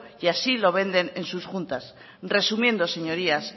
y así lo venden en sus juntas resumiendo señorías